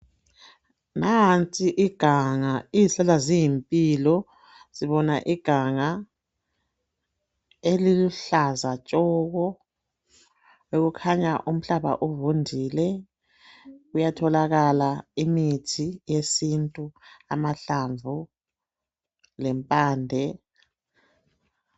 Nanti iganga. Izihlahla ziyimpilo. Sibona iganga eliluhlaza tshoko, okukhanya umhlaba uvundile kuyatholakala imithi yesintu. Amahlamvu lempande.